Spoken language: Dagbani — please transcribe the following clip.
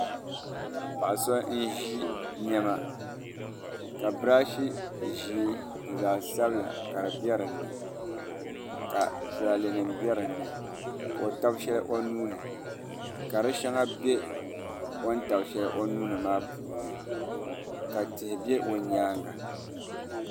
Paɣa so n ʒi niɛma ka birash ʒiɛ ni zaɣ sabila ka di biɛ dinni ka tulaalɛ nim bɛ dinni ka o tabi shɛli o nuuni ka di shɛŋa bɛ o ni tabi shɛli o nuuni maa puuni ka tihi bɛ o nyaanga